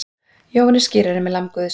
Jóhannes skírari með lamb Guðs.